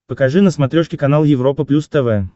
покажи на смотрешке канал европа плюс тв